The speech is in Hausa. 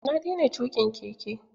Na daina tuƙin keke.